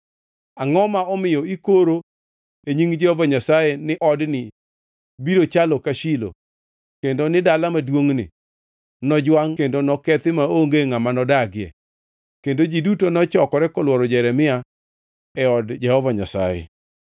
Angʼo ma omiyo ikoro e nying Jehova Nyasaye ni odni biro chalo ka Shilo kendo ni dala maduongʼni nojwangʼ kendo nokethi maonge ngʼama nodagie?” Kendo ji duto nochokore kolworo Jeremia e od Jehova Nyasaye.